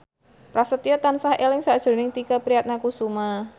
Prasetyo tansah eling sakjroning Tike Priatnakusuma